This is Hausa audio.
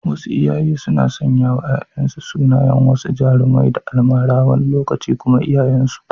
Wasu iyaye suna sanyawa ‘ya’yansu sunayen wasu jarumai da almara, wani lokaci kuma iyayensu.